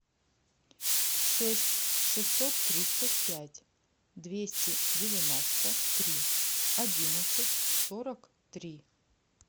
шесть шестьсот тридцать пять двести девяносто три одиннадцать сорок три